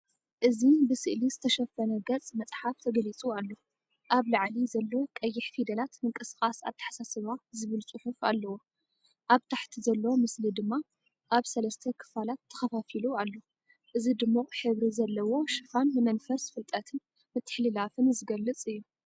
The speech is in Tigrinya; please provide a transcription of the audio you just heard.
እዚ ብስእሊ ዝተሸፈነ ገጽ መጽሓፍ ተገሊጹ ኣሎ። ኣብ ላዕሊ ዘሎ ቀይሕ ፊደላት“ምንቅስቓስ ኣተሓሳስባ” ዝብል ጽሑፍ ኣለዎ፣ ኣብ ታሕቲ ዘሎ ምስሊ ድማ ኣብ ሰለስተ ክፋላት ተኸፋፊሉ ኣሎ። እዚ ድሙቕ ሕብሪ ዘለዎ ሽፋን ንመንፈስ ፍልጠትን ምትሕልላፍን ዝገልጽ እዩ።